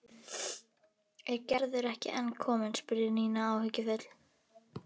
Er Gerður ekki enn komin? spurði Nína áhyggjufull.